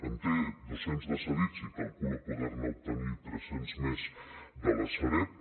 en té dos cents de cedits i calcula poder ne obtenir tres cents més de la sareb